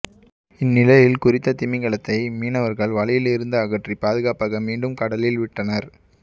இந்நிலையில் குறித்த திமிங்கலத்தை மீனவர்கள் வலையில் இருந்து அகற்றி பாதுகாப்பாக மீண்டும் கடலில் விட்டுள்ளனர்